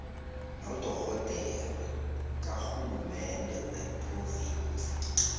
nodorhodere karhulumende wephrovinsi